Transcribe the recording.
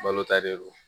Balo ta de don